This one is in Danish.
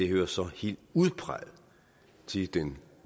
hører så helt udpræget til den